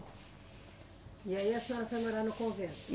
E aí a senhora foi morar no convento?